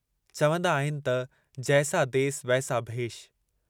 चवन्दा आहिनि त जैसा देस वैसा भेष"।